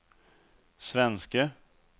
svenske